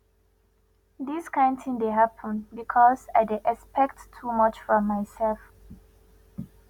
dis kain tin dey happen because i dey expect too much from mysef